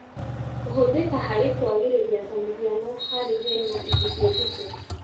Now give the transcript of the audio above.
Kũhũthĩka harĩ kwagĩrĩria ta mũhiano harĩ hena ithukĩ nditũ